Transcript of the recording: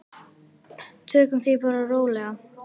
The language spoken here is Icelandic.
Tökum því bara rólega.